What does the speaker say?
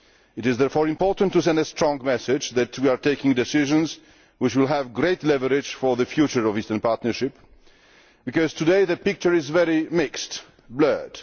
It is therefore important to send a strong message that we are taking decisions which will impart great leverage for the future of the Eastern Partnership, because today the picture is very mixed and blurred.